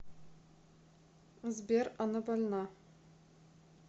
сбер она больна